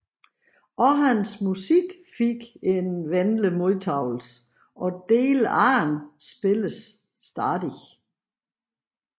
Også hans musik fik en venlig modtagelse og dele af den spilles stadig